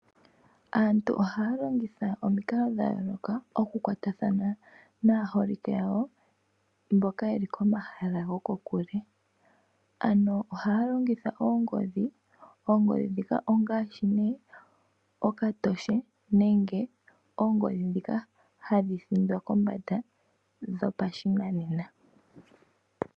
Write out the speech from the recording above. Aantu ohaya longitha omikalo dha yooloka oku kwatathana naaholike yawo mboka yeli komahala goko kule. Ano ohaya longitha oongodhi, oongodhi ndhika ongaashi okatoshe nenge ongodhi ndhika hadhi thindwa kombanda dhopa shinanena.